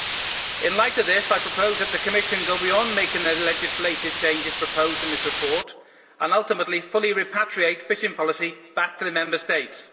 In the light of this, I propose that the Commission go beyond making the legislative changes proposed in this report and ultimately fully repatriate fishing policy back to the Member States.